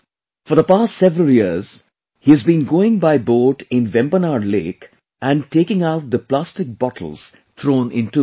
For the past several years he has been going by boat in Vembanad lake and taking out the plastic bottles thrown into the lake